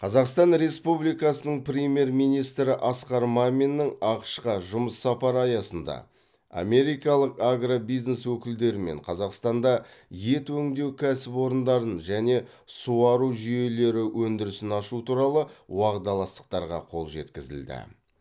қазақстан республикасының премьер министрі асқар маминнің ақш қа жұмыс сапары аясында америкалық агробизнес өкілдерімен қазақстанда ет өңдеу кәсіпорындарын және суару жүйелері өндірісін ашу туралы уағдаластықтарға қол жеткізілді